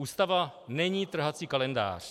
Ústava není trhací kalendář.